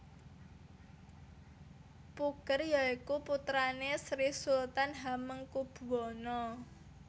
Puger ya iku putrane Sri Sultan Hamengkubuwana